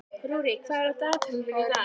Rúrik, hvað er á dagatalinu mínu í dag?